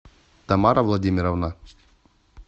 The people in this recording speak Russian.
тамара владимировна